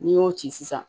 N'i y'o ci sisan